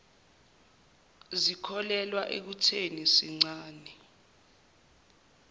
zikholelwa ekutheni sincane